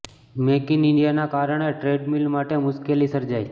make in ઈન્ડિયાના કારણે trade deal માટે મુશ્કેલી સર્જાઈ